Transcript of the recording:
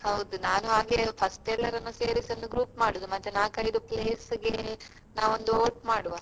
ಹೌದು ನಾನು ಹಾಗೆಯೆ first ಎಲ್ಲರನ್ನು ಸೇರಿಸಿ ಒಂದು group ಮಾಡುದು ಮತ್ತೆ ನಾಲ್ಕೈದು place ಗೆ ನಾವೊಂದು vote ಮಾಡುವ.